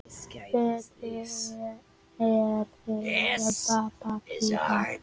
Betri er bið en bráðræði.